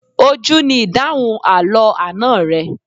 Ojú ni ìdáhùn àlọ́ àná rẹ.